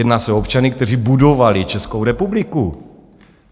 Jedná se o občany, kteří budovali Českou republiku.